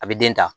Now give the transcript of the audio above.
A bɛ den ta